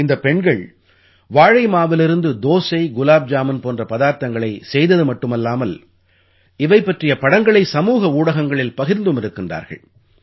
இந்தப் பெண்கள் வாழை மாவிலிருந்து தோசை குலாப் ஜாமுன் போன்ற பதார்த்தங்களைச் செய்தது மட்டுமில்லாமல் இவை பற்றிய படங்களை சமூக ஊடகங்களில் பகிர்ந்தும் இருக்கிறார்கள்